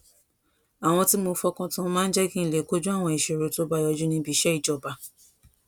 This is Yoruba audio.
àwọn tí mo fọkàn tán máa ń jé kí n lè kojú àwọn ìṣòro tó bá yọjú níbi iṣé ìjọba